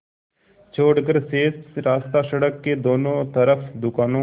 छोड़कर शेष रास्ता सड़क के दोनों तरफ़ दुकानों